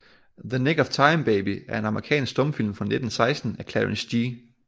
The Nick of Time Baby er en amerikansk stumfilm fra 1916 af Clarence G